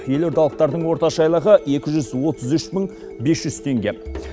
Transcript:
елордалықтардың орташа айлығы екі жүз отыз үш мың бес жүз теңге